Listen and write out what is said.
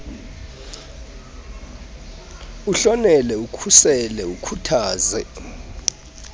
uhlonele ukhusele ukhuthaze